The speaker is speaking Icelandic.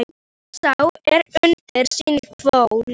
Finnst sá er unnir sinni kvöl?